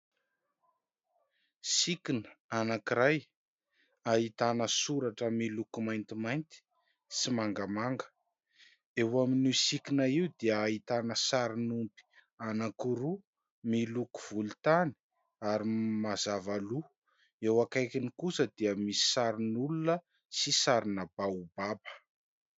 Sikina anakiray, ahitana soratra miloko maintimainty sy mangamanga. Eo amin'io sikina io dia ahitana sarin'omby anakiroa miloko volontany ary mazava loha, eo akaikiny kosa dia misy sarin'olona sy sarina baobaba.